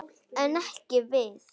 En ekki við.